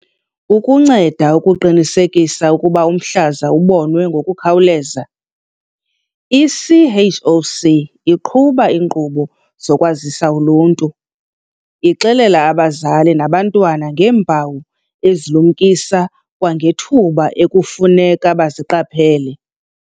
Ukunceda ukuqinisekisa ukuba umhlaza ubonwe ngokukhawuleza, i-CHOC iqhuba iinkqubo zokwazisa uluntu, ixelela abazali nabantwana ngeempawu ezilumkisa kwangethuba ekufuneka baziqaphele.